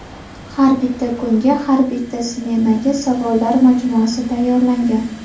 Har bitta kunga, har bitta smenaga savollar majmuasi tayyorlangan.